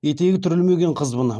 етегі түрілмеген қызбын